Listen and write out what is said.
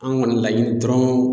An kɔni laɲini dɔrɔn